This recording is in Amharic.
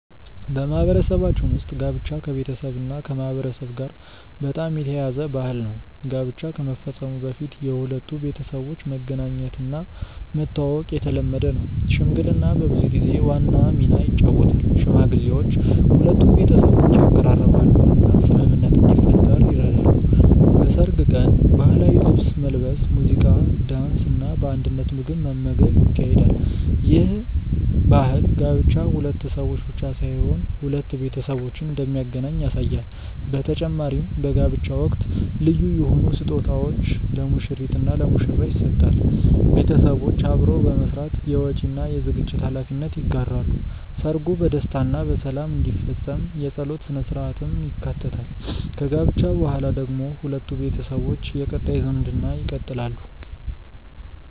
በማህበረሰባችን ውስጥ ጋብቻ ከቤተሰብና ከማህበረሰብ ጋር በጣም የተያያዘ ባህል ነው። ጋብቻ ከመፈጸሙ በፊት የሁለቱ ቤተሰቦች መገናኘትና መተዋወቅ የተለመደ ነው። ሽምግልና በብዙ ጊዜ ዋና ሚና ይጫወታል፤ ሽማግሌዎች ሁለቱን ቤተሰቦች ያቀራርባሉ እና ስምምነት እንዲፈጠር ይረዳሉ። በሰርግ ቀን ባህላዊ ልብስ መልበስ፣ ሙዚቃ፣ ዳንስ እና በአንድነት ምግብ መመገብ ይካሄዳል። ይህ ባህል ጋብቻ ሁለት ሰዎች ብቻ ሳይሆን ሁለት ቤተሰቦችን እንደሚያገናኝ ያሳያል በተጨማሪም በጋብቻ ወቅት ልዩ የሆኑ ስጦታዎች ለሙሽሪት እና ለሙሽራ ይሰጣል ቤተሰቦች አብረው በመስራት የወጪ እና የዝግጅት ሀላፊነት ይጋራሉ። ሰርጉ በደስታ እና በሰላም እንዲፈጸም የጸሎት ሥነ-ሥርዓትም ይካተታል። ከጋብቻ በኋላ ደግሞ ሁለቱ ቤተሰቦች የቀጣይ ዝምድና ይቀጥላሉ።